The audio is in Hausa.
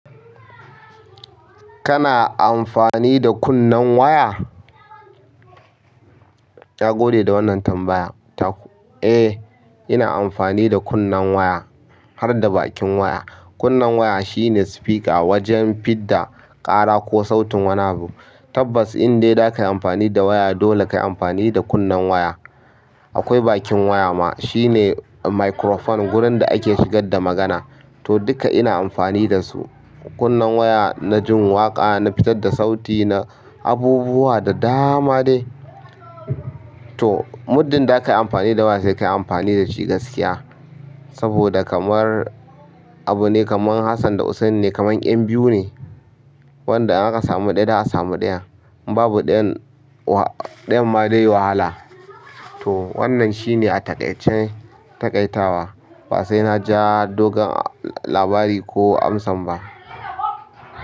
Kana anfani da kunnen waya? Ya gode da wannan tambaya. Eh, ina amfani da kunnen waya har da bakin waya. Kunnen waya shine speaker wajen fidda ƙara ko sautin wani abu. Tabbas indai da kayi amfani da waya dole kayi amfani da kunnen waya. Akwai bakin waya ma shine microphone wurin da ake shigar da magana. To duka ina amfani dasu. Kunnen waya na jin waƙa, na fitar da sauti, na abubuwa da dama dai. To muddin da kayi amfani da waya sai kayi amfani dashi gaskiya. Saboda kamar abu ne kamar Hassan da Hussaini kamar 'yan biyu ne. Wanda in akasami ɗaya za a sami ɗayan. Babu ɗayan wa-- ɗayan ma dai wahala. To wannan shine a taƙaice taƙaitawa ba sai na ja dogon labari ko amsan ba.